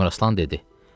Əmiraslan dedi: